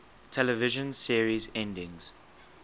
television series endings